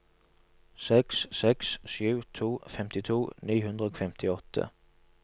seks seks sju to femtito ni hundre og femtiåtte